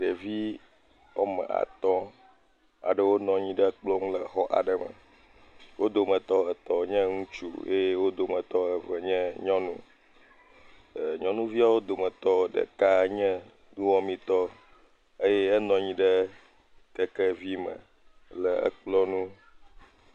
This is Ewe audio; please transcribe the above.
Ɖevi woame atɔ̃, wonɔ anyi ɖe kplɔ ŋu le xɔ aɖe me. Wo dometɔ etɔ̃ nye ŋtsu eye wo dometɔ eve nye nyɔnu. Nyɔnuvia wo dometɔ ɖeka nye nuwɔmetɔ eye enɔ anyi ɖe kekevi me le ekplɔ ŋu.